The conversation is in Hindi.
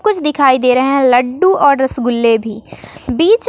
कुछ दिखाई दे रहे हैं लड्डू और रसगुल्ले भी बीच--